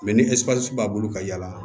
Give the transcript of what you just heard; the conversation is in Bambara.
Mɛ ni ɛsipusi b'a bolo ka yaala